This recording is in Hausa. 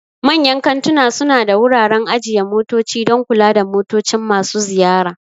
Manyan kantuna suna da wuraren ajiye motoci don kula da motocin masu ziyara.